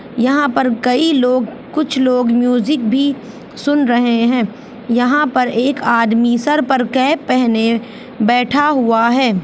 यहा पर कई लोग कुछ लोग म्यूजिक भी सुन रहे है यहाँ पर एक आदमी सर पर कैप पहने बैठा हुआ है ।